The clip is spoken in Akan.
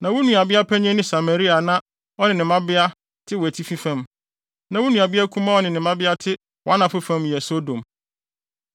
Na wo nuabea panyin ne Samaria a na ɔne ne mmabea te wʼatifi fam, na wo nuabea kumaa a ɔne ne mmabea te wʼanafo fam, yɛ Sodom.